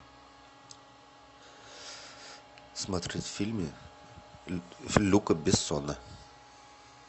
смотреть фильмы люка бессона